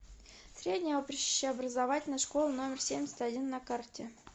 средняя общеобразовательная школа номер семьдесят один на карте